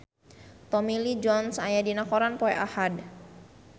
Tommy Lee Jones aya dina koran poe Ahad